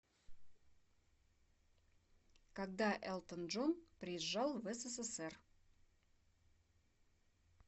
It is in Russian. когда элтон джон приезжал в ссср